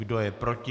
Kdo je proti?